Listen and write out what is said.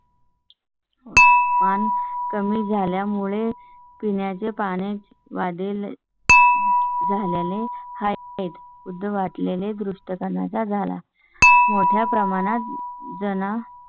हो पण कमी झाल्या मुळे पिण्या च्या पाण्याची वाढेल झालेले आहेत. उद्या वाढ लेले दृष्टीस गाण्या चा झाला. मोठ्या प्रमाणात जण